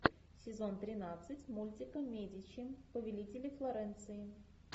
сезон тринадцать мультика медичи повелители флоренции